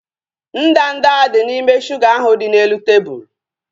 Ndanda dị n'ime shuga ahu dị n'elu tebụlu